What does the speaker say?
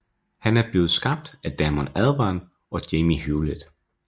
Han er blevet skabt af Damon Albarn og Jamie Hewlett